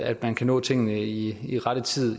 at man kan nå tingene i i rette tid